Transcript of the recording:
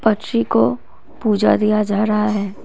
बच्ची को पूजा दिया जा रहा है।